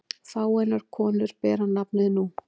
Fáeinar konur bera nafnið nú.